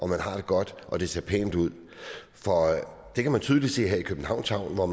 man har det godt og at det ser pænt ud det kan man tydeligt se her i københavns havn hvor